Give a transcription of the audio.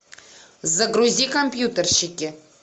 загрузи компьютерщики